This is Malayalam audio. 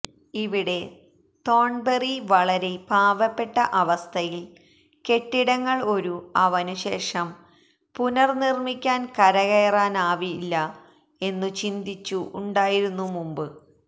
ഇവിടെ തോൺബെറി വളരെ പാവപ്പെട്ട അവസ്ഥയിൽ കെട്ടിടങ്ങൾ ഒരു അവനു ശേഷം പുനർനിർമിക്കാൻ കരകയറാനായില്ല എന്നു ചിന്തിച്ചു ഉണ്ടായിരുന്നു മുമ്പ്